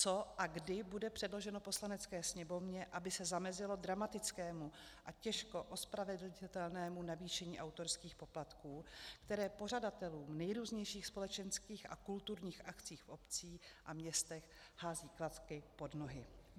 Co a kdy bude předloženo Poslanecké sněmovně, aby se zamezilo dramatickému a těžko ospravedlnitelnému navýšení autorských poplatků, které pořadatelům nejrůznějších společenských a kulturních akcí v obcích a městech hází klacky pod nohy?